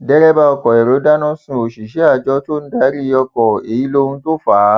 derébà ọkọ èrò dáná sun òṣìṣẹ àjọ tó ń darí ọkọ èyí lóhun tó fà á